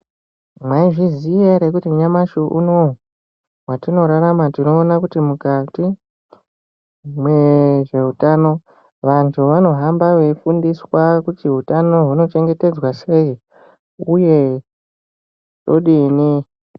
Mwai zviziya ere kuti nyamashi unowu watino rarama tino ona kuti mukati mwezve utano vantu vano hamba vei fundiswa kuti hutano huno chengetedzwa sei uye todini.